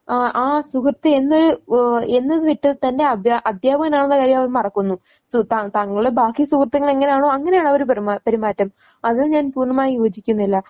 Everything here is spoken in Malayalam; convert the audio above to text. ആഹ് ആ സുഹൃത്ത് എന്നൊരു ഓഹ് എന്നത് വിട്ട് തൻറെ അബ്യാ അധ്യാപകനാണെന്ന കാര്യം അവൻ മറക്കുന്നു. സു ത തങ്ങളെ ബാക്കി സുഹൃത്തുക്കൾ എങ്ങനാണോ അങ്ങനെയാണ് അവർ പെരുമാറു പെരുമാറ്റം. അത് ഞാൻ പൂർണ്ണമായും യോജിക്കുന്നില്ല.